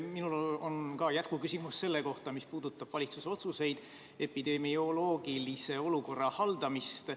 Mul on jätkuküsimus selle kohta, mis puudutab valitsuse otsuseid epidemioloogilise olukorra haldamisel.